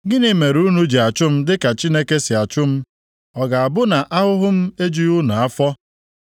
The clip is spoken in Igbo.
Gịnị mere unu ji achụ m dịka Chineke si achụ m? Ọ ga-abụ na ahụhụ m ejubeghị unu afọ?